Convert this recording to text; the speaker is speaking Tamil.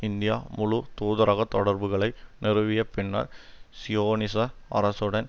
இந்தியா முழு தூதரக தொடர்புகளை நிறுவிய பின்னர் சியோனிச அரசுடன்